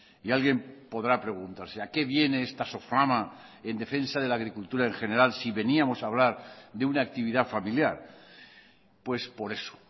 y alguien podrá preguntarse a qué viene esta soflama en defensa de la agricultura en general si veníamos a hablar de una actividad familiar pues por eso